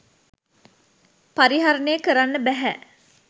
පරිහරණය කරන්න බැහැ